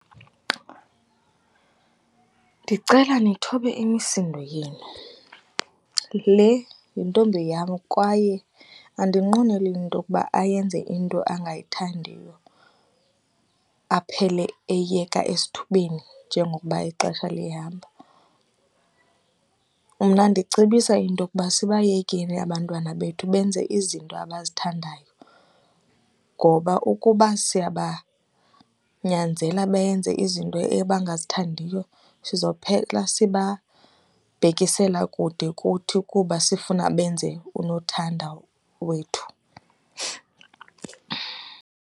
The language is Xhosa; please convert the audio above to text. Ndicela nithobela imisindo yenu, le yintombi yam kwaye andinqweneli into okuba ayenze into angayithandiyo aphele eyeka esithubeni njengokuba ixesha lihamba. Mna ndicebisa into yokuba sibayekeni abantwana bethu benze izinto abazithandayo ngoba ukuba siyabanyazela benze izinto ebangazithandiyo sizophela sibabhekisela kude kuthi kuba sifuna benze unothanda wethu.